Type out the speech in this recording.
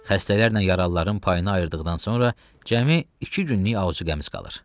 Xəstələrlə yaralıların payını ayırdıqdan sonra cəmi iki günlük azuqəmiz qalır.